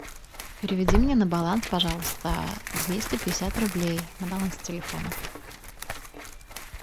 переведи мне на баланс пожалуйста двести пятьдесят рублей на баланс телефона